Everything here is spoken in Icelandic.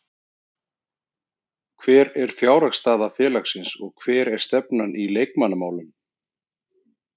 Hver er fjárhagsstaða félagsins og hver er stefnan í leikmannamálum?